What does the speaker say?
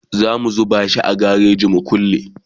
zamu zuba shi a gareji mu kulle